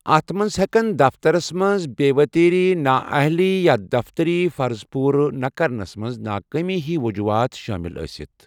اَتھ منٛز ہٮ۪کَن دفترَس منٛز بے٘ وتیری ، نااہلی، یا دفتری فرٕضَ پوُرٕ نہ كرنس منز ناكٲمی ہی وجوٗحات شٲمِل ٲسِتھ ۔